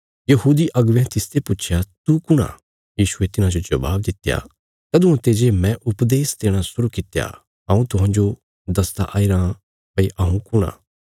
यहूदी अगुवेयां तिसते पुच्छया तू कुण आ यीशुये तिन्हांजो जबाब दित्या तदुआं ते जे मैं उपदेश देणा शुरु कित्या हऊँ तुहांजो दसदा आईरा भई हऊँ कुण आ